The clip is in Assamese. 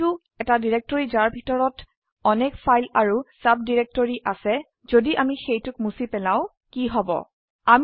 কিন্তু এটা ডিৰেক্টৰি যাৰ ভিতৰত অনেক ফাইল আৰু সাবডিৰেক্টৰি আছে যদি অামি সেইটোক মুছি পেলাও কী হব160